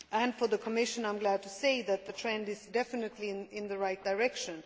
For the Commission, I am glad to say that the trend is definitely moving in the right direction.